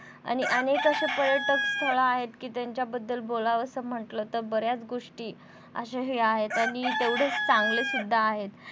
आणि अनेक अशे पर्यटक स्थळे आहेत कि त्यांच्याबद्दल बोलावंसं म्हटलं कि तर बऱ्याच गोष्टी अश्या हे आहात आणि तेवढं चांगलेसुद्धा आहेत.